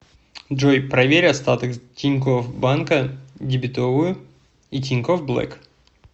джой проверь остаток тинькофф банка дебетовую и тинькофф блэк